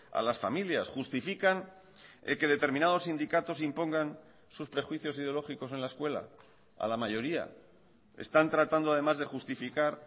a las familias justifican que determinados sindicatos impongan sus prejuicios ideológicos en la escuela a la mayoría están tratando además de justificar